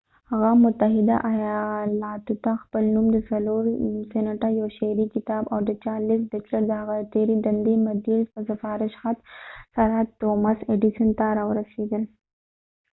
هغه متحده ایالاتو ته پخپل نوم د څلور سینټه، یو شعري کتاب او د چارلیس بچلر د هغه د تېرې دندې مدیر د سفارش خط سره توماس ایډیسن thomas edison ته راورسیدل